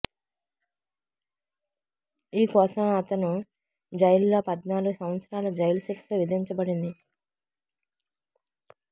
ఈ కోసం అతను జైలులో పద్నాలుగు సంవత్సరాల జైలు శిక్ష విధించబడింది